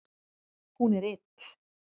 Hún er ill.